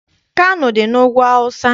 Kano dị n'Ugwu Awụsa.